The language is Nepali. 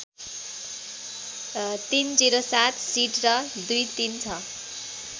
३०७ सिट र २३६